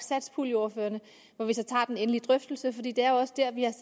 satspuljeordførere hvor vi så tager den egentlige drøftelse for det det er jo også der vi har